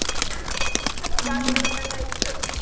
ಖರ್ಚ ಬಾಳ ಮಾಡಿದಾರ ಅಂದಂಗಾಯ್ತ.